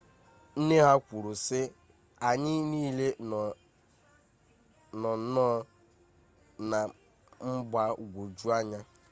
nne ha kwuru sị anyị niile nọ nnọọ na mgbagwojuanya